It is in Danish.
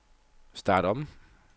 start om